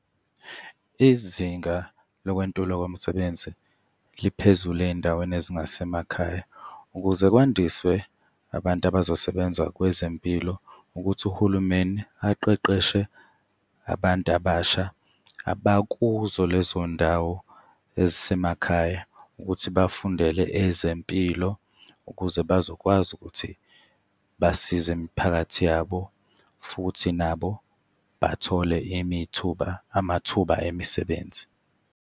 Izinga lokwentulwa kwemisebenzi liphezulu ey'ndaweni ezingasemakhaya. Ukuze kwandiswe abantu abazosebenza kwezempilo, ukuthi uhulumeni aqeqeshe abantu abasha abakuzo lezo ndawo ezisemakhaya ukuthi bafundele ezempilo ukuze bazokwazi ukuthi basize imiphakathi yabo. Futhi nabo bathole imithuba, amathuba emisebenzi.